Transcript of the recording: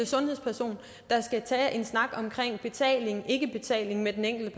sundhedsperson der skal tage en snak om betalingikke betaling med den enkelte